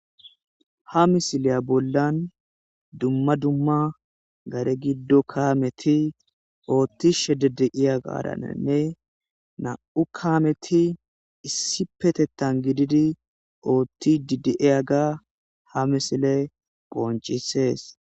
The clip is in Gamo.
Ha misileya bollan dumma dumma gare giddo kaameti oottishe dedeiya gaadanenne na7u kaameti issi petettan gididi oothti dideiya ga ha misile phoncisees